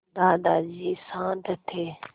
दादाजी शान्त थे